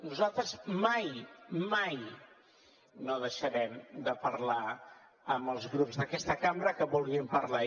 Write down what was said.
nosaltres mai mai no deixarem de parlar amb els grups d’aquesta cambra que vulguin parlar